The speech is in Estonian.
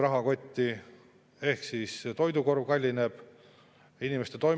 Rahandusminister lubas veel, et sügisel tulevad automaks ja keskkonnamaksud, mis kõik täidavad seda rohehullusega kaasaminemise eesmärki.